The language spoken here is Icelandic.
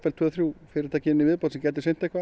tvö þrjú fyrirtæki í viðbót sem gætu sinnt einhverju